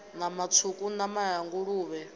nama tswuku nama ya nguluvhe